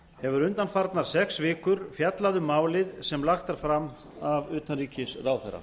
hefur undanfarnar sex vikur fjallað um málið sem lagt er fram af utanríkisráðherra